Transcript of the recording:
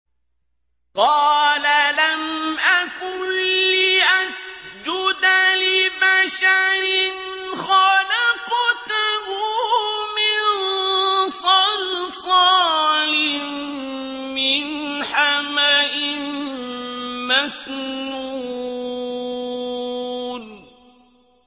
قَالَ لَمْ أَكُن لِّأَسْجُدَ لِبَشَرٍ خَلَقْتَهُ مِن صَلْصَالٍ مِّنْ حَمَإٍ مَّسْنُونٍ